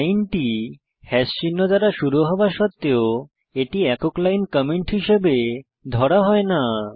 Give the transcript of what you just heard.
লাইনটি হ্যাশ চিহ্ন দ্বারা শুরু হওয়া সত্বেও এটি একক লাইন কমেন্ট হিসাবে ধরা হয় না